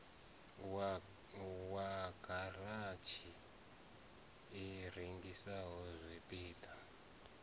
wa garatshi i rengisaho zwipida